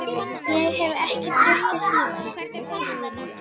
Ég hef ekki drukkið síðan.